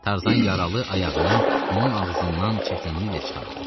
Tarzan yaralı ayağını onun ağzından çətinliklə çıxardı.